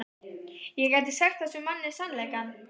Ég gæti sagt þessum manni sannleikann.